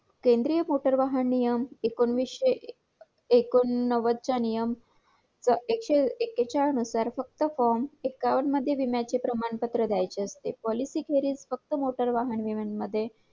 केंद्रीय मोटर वाहन नियम एकोणीशेएकोनवद चा नियम एकशेएक्केचाळीस नुसार फक्त form एकावन्न विम्याचे प्रमाणपत्र द्यायचे असते policy फेरीत फक्त मोटार वाहन विम्यामध्ये